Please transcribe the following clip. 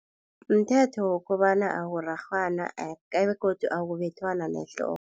Mthetho wokobana ukurarhwana begodu akubethwana ngehloko.